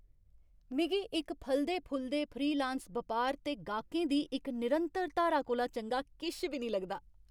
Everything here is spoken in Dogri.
मिगी इक फलदे फुलदे फ्रीलांस बपार ते गाह्कें दी इक निरंतर धारा कोला चंगा किश बी नेईं लगदा।